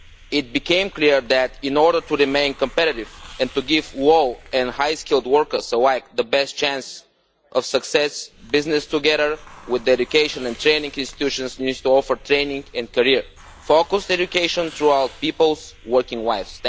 It has become clear that in order to remain competitive, and to give low and high skilled workers alike the best chance of success, businesses together with education and training institutions need to offer training and career-focused education throughout people's working lives.